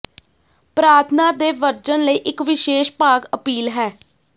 ਪ੍ਰਾਰਥਨਾ ਦੇ ਵਰਜਨ ਲਈ ਇੱਕ ਵਿਸ਼ੇਸ਼ ਭਾਗ ਅਪੀਲ ਹੈ